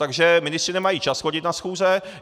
Takže ministři nemají čas chodit na schůze.